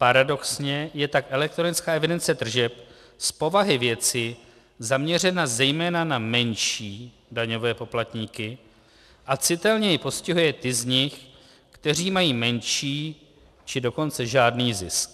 Paradoxně je tak elektronická evidence tržeb z povahy věci zaměřena zejména na menší daňové poplatníky a citelněji postihuje ty z nich, kteří mají menší, či dokonce žádný zisk.